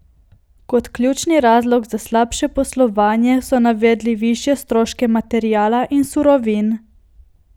Kot ključni razlog za slabše poslovanje so navedli višje stroške materiala in surovin.